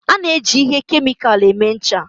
A na-eji ihe kemịkal eme ncha